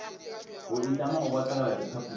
go itlama go botegela repabliki